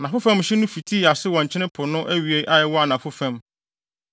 Anafo fam hye no fitii ase wɔ Nkyene Po no awiei a ɛwɔ anafo fam,